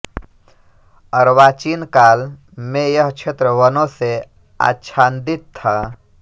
अर्वाचीन काल में यह क्षेत्र वनों से आच्छादित था